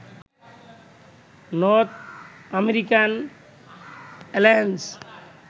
north American alliance